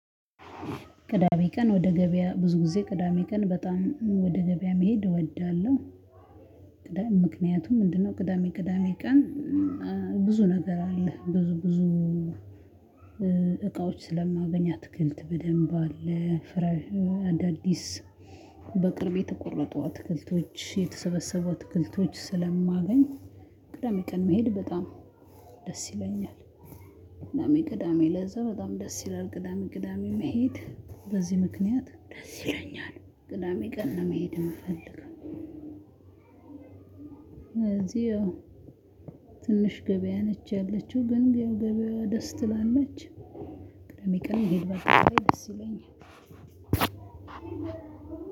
ቅዳሜ ቀን ወደ ገበያ ብዙ ጊዜ ቅዳሜ ቀን በጣም እም ወደ ገበያ መሄድ እወዳለሁ። ምክንያቱም ምንድን ነው? ቅዳሜ ቅዳሜ ቀን። ብዙ ነገር አለ ብዙ ብዙ እቃዎች ስለማገኝ አትክልት በደንብ አለ ፍራፍሬ አዳዲስ በቅርብ የተቆረጡ አትክልቶች የተሰበሰቡ አትክልቶች ስለማገኝ። ቅዳሜ ቀን መሄድ በጣም ደስ ይለኛል። ቅዳሜ ቅዳሜ ለዛ በጣም ደስ ይላል ቅዳሜ ቅዳሜ መሄድ በዚህ ምክንያት ደስ ይለኛል ቅዳሜ ቀን መሄድ የምፈልግ። እዚህ ያው ትንሽ ገበያ ነች ያለችው ግን ያው ገበያ ደስ ትላለች ላለች። ቅዳሜ ቀን ብሄድ ደስ ይለኛል።